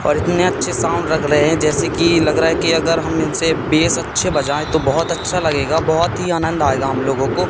और इतने अच्छे साउंड रग रहे हैं जैसे कि लग रहा है कि अगर हम इनसे बेस अच्छे बजाए तो बहोत अच्छा लगेगा बहोत ही आनंद आएगा हम लोगों को।